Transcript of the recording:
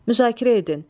Müzakirə edin.